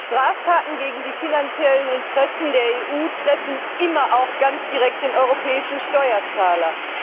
Straftaten gegen die finanziellen Interessen der EU treffen immer auch ganz direkt den europäischen Steuerzahler.